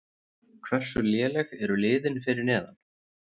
Hversu léleg eru liðin fyrir neðan?